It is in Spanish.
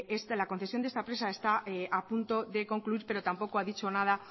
es de la concesión de esta presa está a punto de concluir pero tampoco a dicho nada